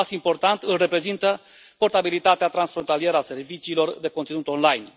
Un pas important îl reprezintă portabilitatea transfrontalieră a serviciilor de conținut online.